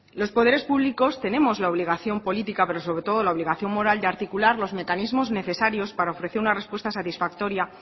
los poderes públicos tenemos la obligación política pero sobre todo la obligación moral de articular los mecanismos necesarios para ofrecer una respuesta satisfactoria